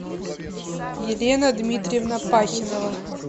елена дмитриевна пахинова